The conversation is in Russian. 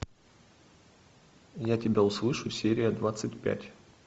я тебя услышу серия двадцать пять